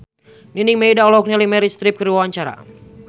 Nining Meida olohok ningali Meryl Streep keur diwawancara